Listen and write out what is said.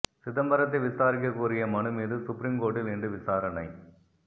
சிதம்பரத்தை விசாரிக்க கோரிய மனு மீது சுப்ரீம் கோர்ட்டில் இன்று விசாரணை